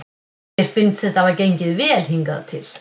Mér finnst þetta hafa gengið vel hingað til.